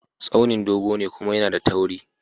Tsauni dogo ne kuma yAna da tauri